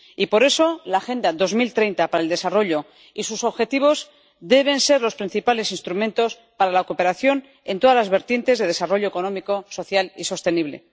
Y por eso, la Agenda 2030 para el Desarrollo y sus objetivos deben ser los principales instrumentos para la cooperación en todas las vertientes de desarrollo económico, social y sostenible.